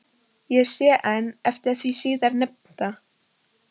Ég sé enn eftir því síðar nefnda.